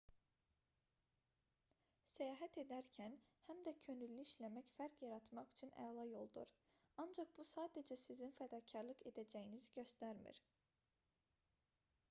səyahət edərkən həm də könüllü işləmək fərq yaratmaq üçün əla yoldur ancaq bu sadəcə sizin fədakarlıq edəcəyinizi göstərmir